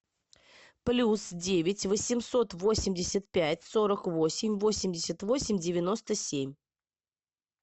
плюс девять восемьсот восемьдесят пять сорок восемь восемьдесят восемь девяносто семь